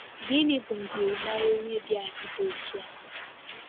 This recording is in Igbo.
Gịnị bụ njirimara onye dị adi dị otu a?